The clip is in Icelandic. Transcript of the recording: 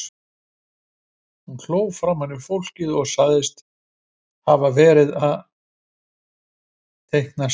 Hún hló framan í fólkið og sagðist hafa verið að teikna sel.